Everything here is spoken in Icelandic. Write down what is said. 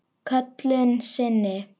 Köllun sinni?